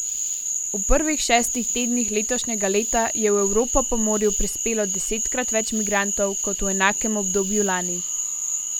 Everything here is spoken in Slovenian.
V prvih šestih tednih letošnjega leta je v Evropo po morju prispelo desetkrat več migrantov kot v enakem obdobju lani.